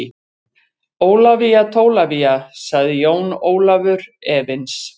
Ólafía Tólafía, sagði Jón Ólafur efins.